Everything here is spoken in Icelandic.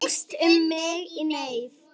Lykst um mig í neyð.